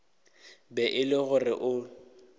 be e le gore o